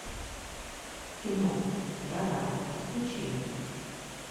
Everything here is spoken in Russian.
кино жара подключи